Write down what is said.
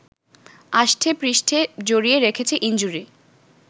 আষ্ঠে পৃষ্ঠে জড়িয়ে রেখেছে ইনজুরি